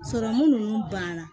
Sɔrɔmu nunnu banna